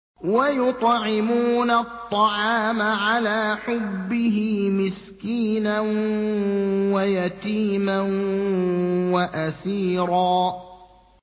وَيُطْعِمُونَ الطَّعَامَ عَلَىٰ حُبِّهِ مِسْكِينًا وَيَتِيمًا وَأَسِيرًا